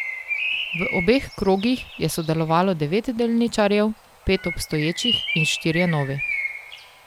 V obeh krogih je sodelovalo devet delničarjev, pet obstoječih in štirje novi.